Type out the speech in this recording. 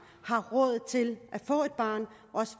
har råd til at få et barn og